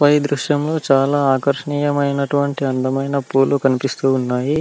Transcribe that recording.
పైన చాల ఆకర్షణీయ మైన అటువంటి పూలు కనిపిస్తున్నాయి --